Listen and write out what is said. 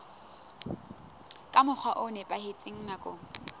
ka mokgwa o nepahetseng nakong